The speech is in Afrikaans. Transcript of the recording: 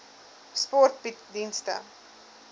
sport bied dienste